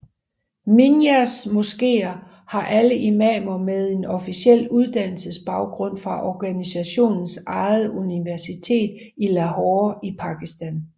Minhajs moskeer har alle imamer med en officiel uddannelsesbaggrund fra organisationens eget universitet i Lahore i Pakistan